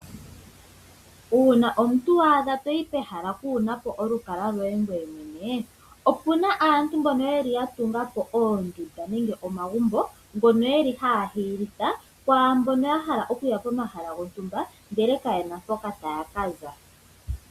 Uuna omuntu wa adha toyi pehala kuunapo olukalwa loye ngoye mwene . Opuna aantu mbono yeli ya tulapo oondunda nenge omagumbo . Ngono yeli haya hiyilitha kwaambono ya hala okuya pomahala gontumba ndele kayena mpoka taya ka za.